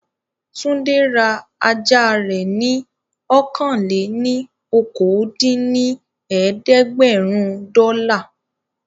Túndé ra ajá rẹ̀ ní ọ̀kan-lé-ní-okòó dín ní ẹ̀ẹ́dẹ́gbẹ́rún dọ́là